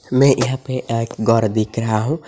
मैं यहां पे एअक गौर दीक रहा हूं।